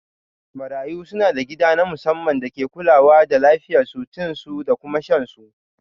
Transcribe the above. Marayu suna da gida na musamman da ake kulawa da lafiyan su, cin su da kuma shan su